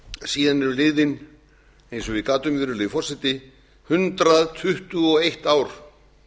síðan eru liðin eins og ég gat um virðulegi forseti hundrað tuttugu og eitt ár